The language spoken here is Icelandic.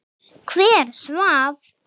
Hver svaf?